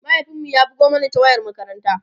mahaifin mu ya bugo Mani ta wayar makaranta